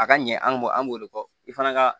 A ka ɲɛ an b'o an b'o de fɔ i fana ka